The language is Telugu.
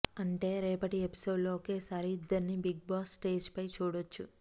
అంటే రేపటి ఎపిసోడ్లో ఒకేసారి ఇద్దర్ని బిగ్ బాస్ స్టేజ్పై చూడొచ్చు